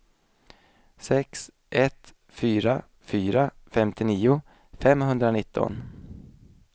sex ett fyra fyra femtionio femhundranitton